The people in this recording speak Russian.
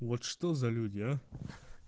вот что за люди а